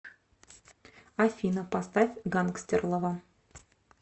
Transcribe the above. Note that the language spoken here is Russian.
афина поставь гангстерлова